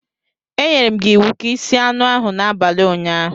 Enyerem gi iwu ka i sie anu ahu n'abali unyaahu